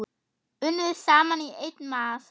Unnið saman í einn massa.